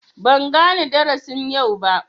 Ban gane darasin yau ba.